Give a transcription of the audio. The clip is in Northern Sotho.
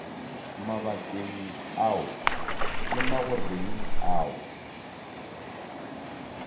mabakeng ao le magoreng ao